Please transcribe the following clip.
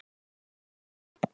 Þú munt lifa mig.